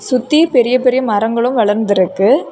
சுத்தி பெரிய பெரிய மரங்களும் வளர்ந்திருக்கு.